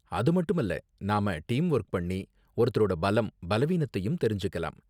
அது மட்டுமல்ல, நாம டீம் வொர்க் பண்ணி, ஒவ்வொருத்தரோட பலம், பலவீனத்தயும் தெரிஞ்சுக்கலாம்.